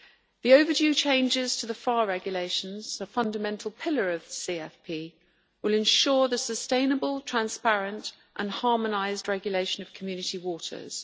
The overdue changes to the PHARE Regulations, a fundamental pillar of the CFP, will ensure the sustainable, transparent and harmonised regulation of Community waters.